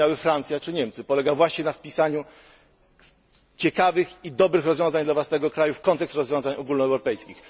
rozumiały Francja czy Niemcy, polega właśnie na wpisaniu ciekawych i dobrych rozwiązań dla własnego kraju w kontekst rozwiązań ogólnoeuropejskich.